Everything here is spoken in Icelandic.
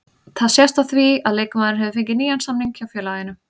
Það sést á því að leikmaðurinn hefur fengið nýjan samning hjá félaginu.